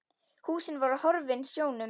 Húsin voru horfin sjónum.